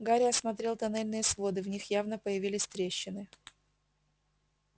гарри осмотрел тоннельные своды в них явно появились трещины